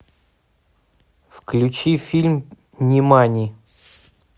включи фильм нимани